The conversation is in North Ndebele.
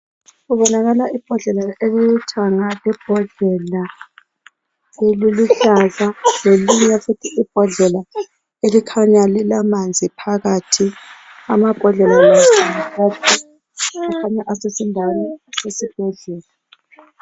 Kubonakala imbodlela elilithanga lembodlela eliluhlaza lelinye futhi imbodlela elikhanya lilamanzi phakathi. Amambodlela la akhanya esendaweni yesibhedlela.